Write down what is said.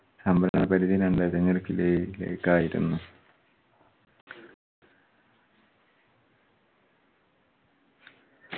സംഭരണ പരിധി രണ്ടായിരത്തി അഞ്ഞൂറ് kilo യിലേക്ക് ആയിരുന്നു.